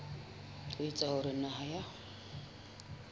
ho etsa hore naha ya